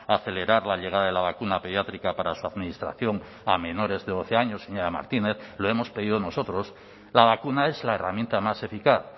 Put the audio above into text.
acelerar la llegada de la vacuna pediátrica para su administración a menores de doce años señora martínez lo hemos pedido nosotros la vacuna es la herramienta más eficaz